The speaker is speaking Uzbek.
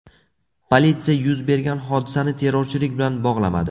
Politsiya yuz bergan hodisani terrorchilik bilan bog‘lamadi.